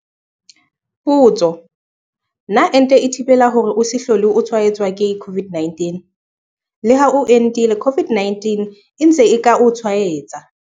Potso- Na ente e thibela hore o se hlole o tshwaetswa ke COVID-19? Leha o entile COVID-19 e ntse e ka o tshwaetsa.